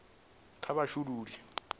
kha vha shulule bogisi la